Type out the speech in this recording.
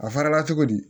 A farala cogo di